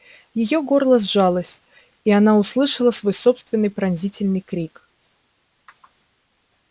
её горло сжалось и она услышала свой собственный пронзительный крик